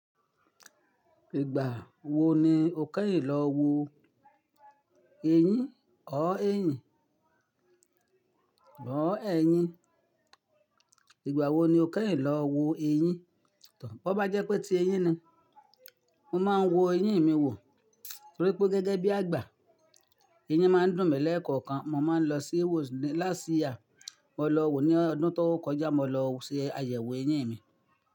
Ìgbà wo ni o kẹ́yìn lọ wo eyín? Ọ éyìn, lọ ẹyín. Ìgbà wo ni o kẹ́yìn lọ wo eyín? Bo bá jẹ́ pé tí eyín ni, mo máa ń wo eyín mi wò torí pé gẹ́gẹ́ bí àgbà, eyín máa ń dùn mí lẹ́ẹ̀kọ̀kan. Mo máa ń lọ sí wò lásíà, mo lọ wò ní ọdún tó kọjá, mo lọ se àyẹ̀wò eyín mi.